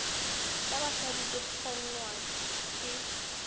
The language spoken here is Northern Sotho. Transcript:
tša basadi di kgongwa ke